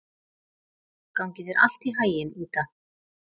Gangi þér allt í haginn, Ída.